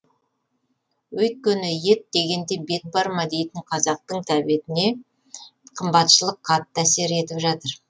өйткені ет дегенде бет бар ма дейтін қазақтың тәбетіне қымбатшылық қатты әсер етіп жатыр